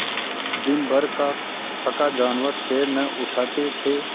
दिनभर का थका जानवर पैर न उठते थे